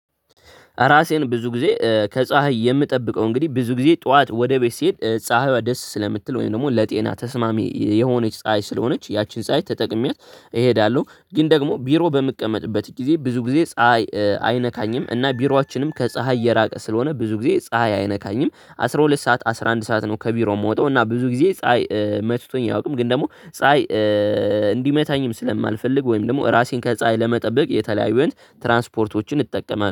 ራሴን ብዙ ጊዜ ከፀሀይ የምጠብቀው እንግዲህ ብዙ ጊዜ ጠዋት ወደ ቤት ሲሄድ ፀሀይዋ ደስ ስለምትል ወይም ደግሞ ለጤና ተስማሚ የሆነች ፀሀይ ስለሆነች ያችን ፀሀይ ተጠቅሜያት። እሄዳለሁ ግን ደግሞ ቢሮ በምቀመጥበት ጊዜ ብዙ ጊዜ ፀሀይ አይነካኝም እና ቢሮአችንም ከፀሀይ የራቀ ስለሆነ ብዙ ጊዜ ፀሀይ አይነካኝም አስራ ሁለት ሰዓት አስራ አንድ ሰዓት ነው። ከቢሮ የምወጣው እና ብዙ ጊዜ ፀሀይ መትቶኝ አያውቅም። ግን ደግሞ ፀሀይ እንዲመታኝም ስለማንፈልግ ወይም ደግሞ ራሴን ከፀሀይ ለመጠበቅ የተለያዩ ትራንስፖርቶችን እጠቀማለሁ